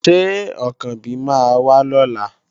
Ṣé Ọ̀kànbí máa wá lọ́la?